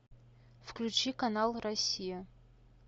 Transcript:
включи канал россия